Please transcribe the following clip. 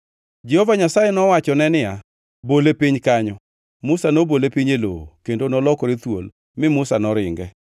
Jehova Nyasaye nowachone niya “Bole piny kanyo.” Musa nobole piny e lowo kendo nolokore thuol mi Musa noringe.